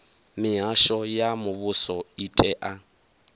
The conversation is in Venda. mihasho ya muvhuso i tea